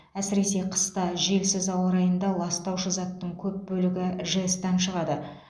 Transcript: әсіресе қыста желсіз ауа райында ластаушы заттың көп бөлігі жэс тан шығады